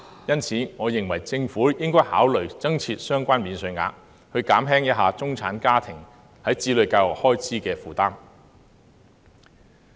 因此，我認為政府應考慮增設相關免稅額，減輕中產家庭在子女教育開支方面的負擔。